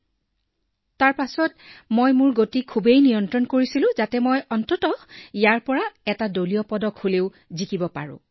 ইয়াৰ পিছত মই মোৰ গতি ইমানেই নিয়ন্ত্ৰণ কৰিলোঁ যে কৰবাত ইয়াৰ পৰা হলেও দলীয় পদক লাভ কৰিব লাগিব